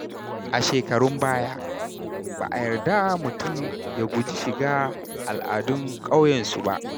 A shekarun baya, ba a yarda mutum ya guji shiga al’adun ƙauyensu ba.